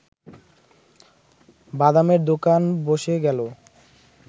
বাদামের দোকান বসে গেল